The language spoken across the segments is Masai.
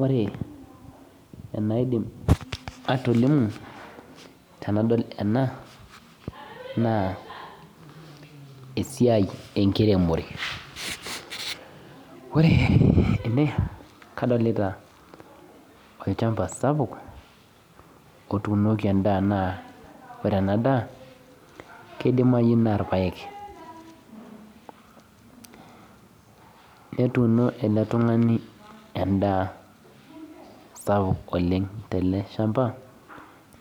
Ore enaidim atolimu tenadol ena naa esiai enkiremore ore ene kadolita olchamba sapuk otuunoki enda anaa ore ena daa naa irpaek netuumo ele tung'ani endaa sapuk oleng telee shamaba.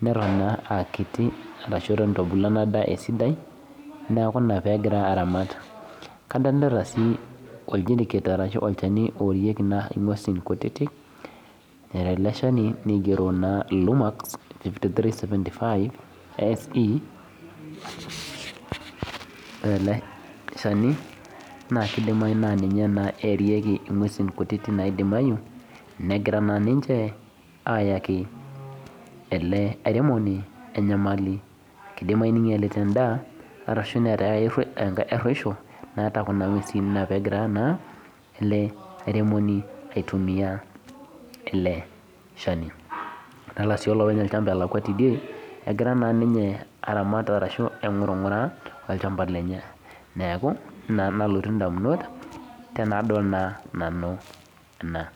Neton eitu ebulu ena daa esidai adolita sii olchani oorarieki ing'uesin kutitik ore ele shani naa keidimayu naa ninche eerieki ing'uesi kutitik negira naa ninche aaayaki ele airemoni enyamali endimayu neegiraa aayaki enkaruesho enaa ele airemoni aitumiya ele shani adolita sii olopeny olchamba egira amaanaa todie egira aing'uraa ng'uraa olchamba lenye neeeku ina nalotu indamunot tenadol ena